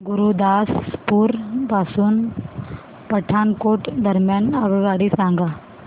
गुरुदासपुर पासून पठाणकोट दरम्यान आगगाडी सांगा